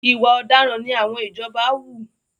Ìwà ọ̀daràn ni àwọn ìjọba wù.